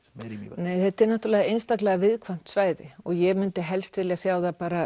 er í Mývatni þetta er náttúrulega einstaklega viðkvæmt svæði og ég myndi helst vilja sjá það